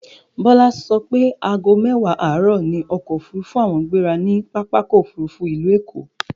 Bọlá so pé aago mẹ́wàá àárọ̀ ni ọkọ̀ òfurufú àwọn gbéra ni Pápákọ̀ Òfurufú ìlú Èkó